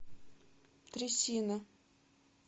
трясина